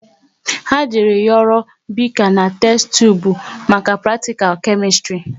Ha jere yoro bika na testubu maka pratikal Kemistri